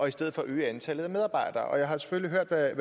i stedet at øge antallet af medarbejdere jeg har selvfølgelig hørt hvad